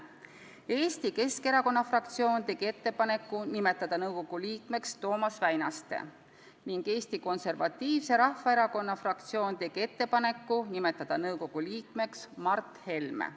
Eesti Keskerakonna fraktsioon tegi ettepaneku nimetada nõukogu liikmeks Toomas Väinaste ning Eesti Konservatiivse Rahvaerakonna fraktsioon tegi ettepaneku nimetada nõukogu liikmeks Mart Helme.